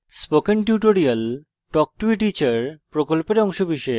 spoken tutorial talk to a teacher প্রকল্পের অংশবিশেষ